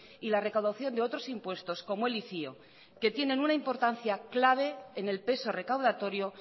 y la recaudación de otros impuestos como el icio que tienen una importancia clave en el peso recaudatorio